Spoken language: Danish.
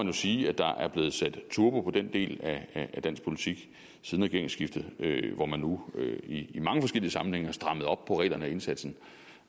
jo sige at der er blevet sat turbo på den del af dansk politik siden regeringsskiftet hvor man nu i i mange forskellige sammenhænge har strammet op på reglerne og indsatsen